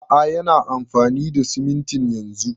A'a yana amfani da simintin yanzun